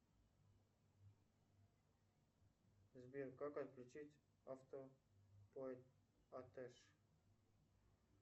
сбер как отключить автоплатеж